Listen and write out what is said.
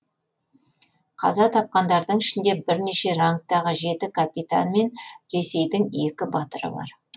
қаза тапқандардың ішінде бірнеше рангтағы жеті капитан мен ресейдің екі батыры бар